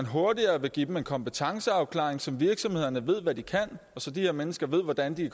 hurtigere at give dem en kompetenceafklaring så virksomhederne ved hvad de kan og så de her mennesker ved hvordan de